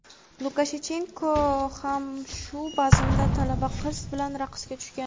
Lukashenko ham shu bazmda talaba qiz bilan raqsga tushgan.